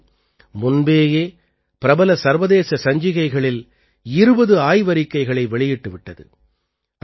இந்த மையம் முன்பேயே பிரபல சர்வதேச சஞ்சிகைகளில் 20 ஆய்வறிக்கைகளை வெளியிட்டு விட்டது